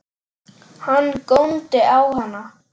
Hann góndi á hana.